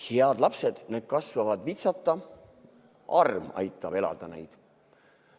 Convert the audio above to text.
Head lapsed, need kasvavad vitsata, arm aitab elada neid.